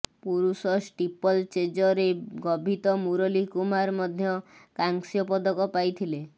ପୁରୁଷ ଷ୍ଟିପଲଚେଜରେ ଗଭିତ ମୁରଲୀ କୁମାର ମଧ୍ୟ କାଂସ୍ୟ ପଦକ ପାଇଥିଲେ